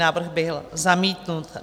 Návrh byl zamítnut.